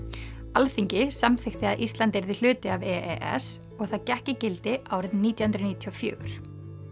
Alþingi samþykkti að Ísland yrði hluti af e s og það gekk í gildi árið nítján hundruð níutíu og fjögur